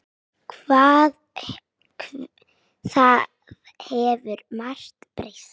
Það hefur margt breyst.